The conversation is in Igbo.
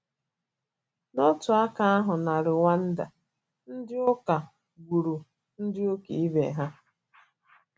N’otu aka ahụ, na Rwanda, ndị ụka gburu ndị ụka ibe ha.